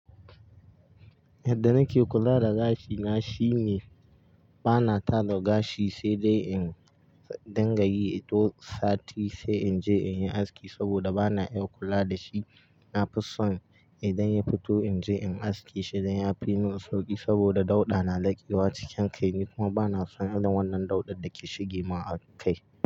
Yadda nake kula da gashina shine bana tada gashi sai dai in dingayi duk sati sai in je in yi aski saboda bana iya kula da shi. Na fi son idan ya fito in je in aske shi don ya fi min sauƙi, saboda dauɗa na lakewa cikin kai ni kuma bana son irin wannan dauɗar da ke shigima a kai.